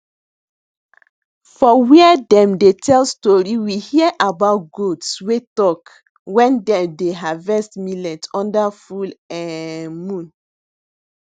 for where dem dey tell story we hear about goats wey talk wen dem dey harvets millet under full um moon